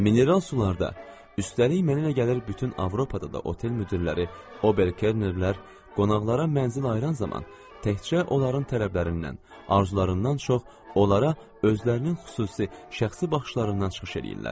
Mineral sularda, üstəlik mənə elə gəlir bütün Avropada da otel müdirləri, Ober-Kelnerlər qonaqlara mənzil ayıran zaman təkcə onların tələblərindən, arzularından çox, onlara özlərinin xüsusi şəxsi baxışlarından çıxış eləyirlər.